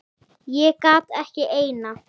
Ég gat ekki eina.